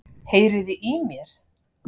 Heyriði í mér?